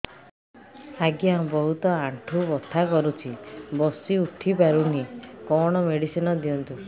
ଆଜ୍ଞା ବହୁତ ଆଣ୍ଠୁ ବଥା କରୁଛି ବସି ଉଠି ପାରୁନି କଣ ମେଡ଼ିସିନ ଦିଅନ୍ତୁ